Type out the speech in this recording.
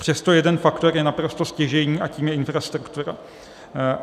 Přesto jeden faktor je naprosto stěžejní a je jím infrastruktura.